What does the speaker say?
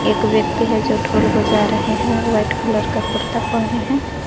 एक व्यक्ति है जो ढोल बजा रहे हैं व्हाइट कलर का कुर्ता पहने हैं।